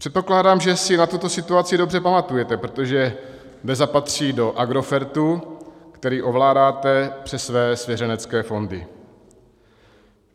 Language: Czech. Předpokládám, že si na tuto situaci dobře pamatujete, protože DEZA patří do Agrofertu, který ovládáte přes své svěřenské fondy.